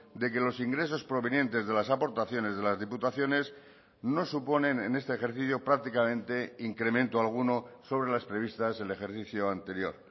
de que los ingresos provenientes de las aportaciones de las diputaciones no suponen en este ejercicio prácticamente incremento alguno sobre las previstas el ejercicio anterior